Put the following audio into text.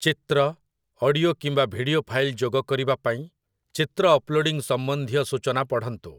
ଚିତ୍ର, ଅଡିଓ କିମ୍ବା video file ଯୋଗ କରିବା ପାଇଁ, ଚିତ୍ର ଅପ୍ଲୋଡିଂ ସମ୍ବନ୍ଧୀୟ ସୂଚନା ପଢ଼ନ୍ତୁ ।